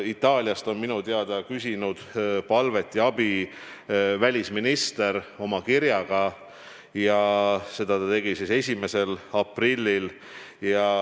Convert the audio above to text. Itaaliast on minu teada küsinud abi välisminister oma kirjaga ja seda ta tegi 1. aprillil.